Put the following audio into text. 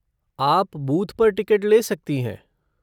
आप बूथ पर टिकट ले सकती हैं।